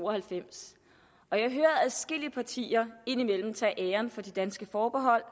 og halvfems og jeg hører adskillige partier indimellem tage æren for de danske forbehold